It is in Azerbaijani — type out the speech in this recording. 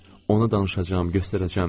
Ona danışacam, göstərəcəm.